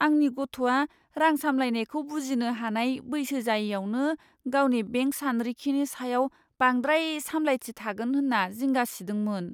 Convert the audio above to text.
आंनि गथ'आ रां सामलायनायखौ बुजिनो हानाय बैसो जायैआवनो गावनि बेंक सानरिखिनि सायाव बांद्राय सामलायथि थागोन होन्ना जिंगा सिदोंमोन।